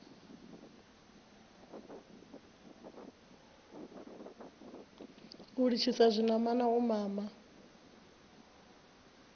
u litshisa zwinamana u mama